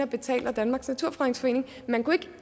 betalt af danmarks naturfredningsforening man kunne ikke